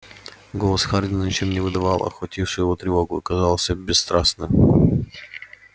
голос хардина ничем не выдавал охватившую его тревогу и казался бесстрастным